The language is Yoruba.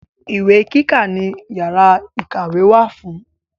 Ìwé kíkà ni yàrá ìkàwé wà fún.